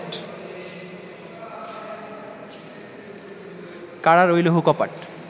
কারার ঐ লৌহ কপাট